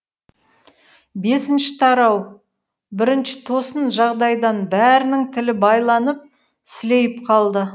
бесінші тарау бірінші тосын жағдайдан бәрінің тілі байланып сілейіп қалды